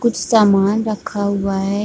कुछ सामान रखा हुआ है।